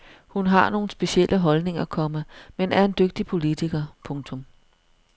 Hun har nogle specielle holdninger, komma men er en dygtig politiker. punktum